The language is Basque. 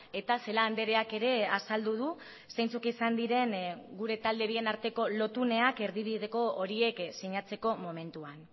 eta celaá andreak ere azaldu du zeintzuk izan diren gure talde bien arteko lotuneak erdibideko horiek sinatzeko momentuan